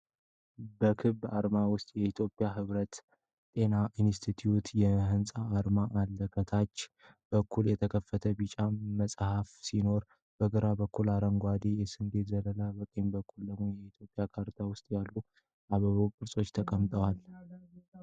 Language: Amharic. በክብ አርማ ውስጥ የኢትዮጵያ የህብረተሰብ ጤና ኢንስቲትዩት ሕንፃና አርማ አለ። ከታች በኩል የተከፈተ ቢጫ መጽሐፍ ሲኖር፣ በግራ በኩል አረንጓዴ የስንዴ ዘለላ በቀኝ በኩል ደግሞ የኢትዮጵያ ካርታ ውስጥ ያሉ የአበባ ቅርጾች ተቀምጠዋል።